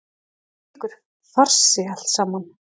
Hvílíkur farsi allt saman!